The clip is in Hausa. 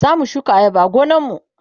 zamu shuka ayaba a gonan mu